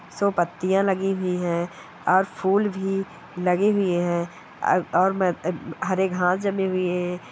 सो पत्तियां लगी हुई है और फूल भी लगे हुऐ है और म हरे घास जमे हुए हैं।